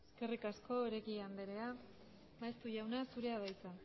eskerrik asko oregi andrea maeztu jauna zurea da hitza